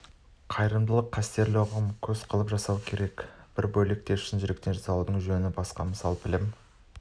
қайырымдылық қастерлі ұғым көз қылып жасау бір бөлек те шын жүректен жасаудың жөні басқа мысалы білім